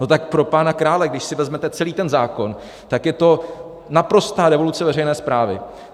No tak pro pána krále, když si vezmete celý ten zákon, tak je to naprostá revoluce veřejné správy.